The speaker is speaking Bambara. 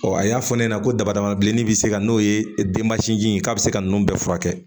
a y'a fɔ ne ɲɛna ko daba dama bilennin bɛ se ka n'o ye denmasinji in k'a bɛ se ka nun bɛɛ furakɛ